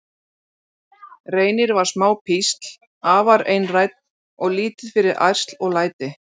Reynir var smá písl, afar einrænn og lítið fyrir ærsl og læti.